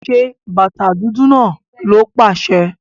Ṣẹ bátà dúdú náà, ló paṣẹ̀!